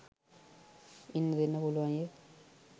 ඉන්න දෙන්න පුළුවන් යැ.